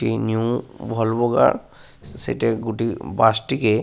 একটি new Volvo গা । সেটা গুটি বাস টিকে।